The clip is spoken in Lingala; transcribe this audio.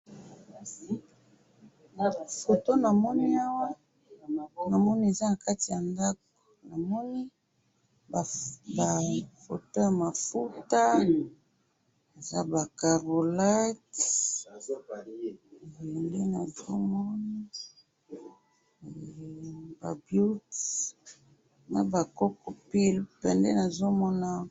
photo namoni awa namoni eza ya kati ya ndakou, namoni ba photo ya mafouta eza ba karolax ,yango nde nazo mona ,hee ba byuti naba koko byult yango nde nazo mona awa.